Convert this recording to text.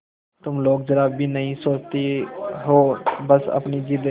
तुम लोग जरा भी नहीं सोचती हो बस अपनी जिद